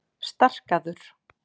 Starkaður